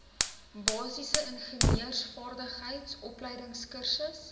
basiese ingenieursvaardigheid opleidingskursus